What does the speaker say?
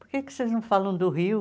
Por que que vocês não falam do Rio?